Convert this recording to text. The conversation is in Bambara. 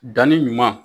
Danni ɲuman